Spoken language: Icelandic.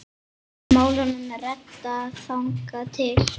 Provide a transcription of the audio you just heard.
Málunum er reddað þangað til.